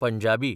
Punjabi